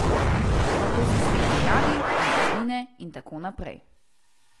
Nato se spet pojavi in izgine in tako naprej.